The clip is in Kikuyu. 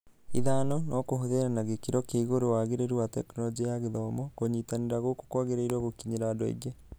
ĩthano, No kũhũthĩra na gĩkĩro kĩa igũrũ wagĩrĩru wa Tekinoronjĩ ya Gĩthomo, kũnyitanĩra gũkũ kũagĩrĩirwo gũkinyĩra andũ aingĩ